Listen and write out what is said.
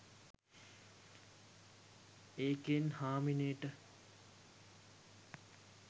ඒකෙන් හාමිනේට